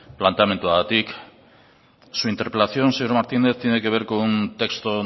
planteamenduagatik su interpelación señor martínez tiene que ver con un texto